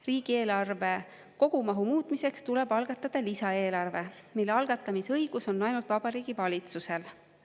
Riigieelarve kogumahu muutmiseks tuleb algatada lisaeelarve, mille algatamise õigus on ainult Vabariigi Valitsusel.